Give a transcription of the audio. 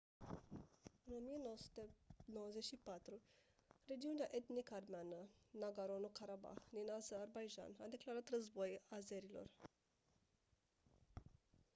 în 1994 regiunea etnic armeană nagorno-karabah din azerbaidjan a declarat război azerilor